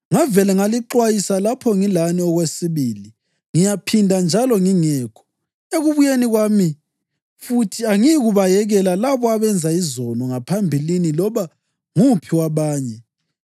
Ngavela ngalixwayisa lapho ngilani okwesibili. Ngiyakuphinda njalo ngingekho: Ekubuyeni kwami futhi angiyikubayekela labo abenza izono ngaphambilini loba nguphi wabanye,